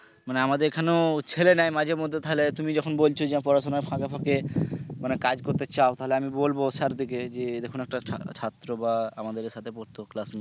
মানে আমাদের এখানেও ছেলে নেয় মাঝে মধ্যে তাহলে তুমি যখন বলছো যে পড়াশুনার ফাকে ফাকে মানে কাজ করতে চাও তাহলে আমি বলবো স্যারকে যে দেখুন একটা ছাত্র বা আমাদের সাথে পড়ত class